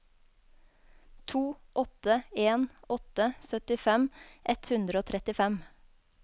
to åtte en åtte syttifem ett hundre og trettifem